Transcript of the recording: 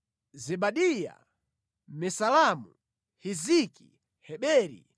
Zebadiya, Mesulamu, Hiziki, Heberi,